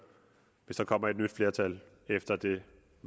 hvis der kommer et nyt flertal efter det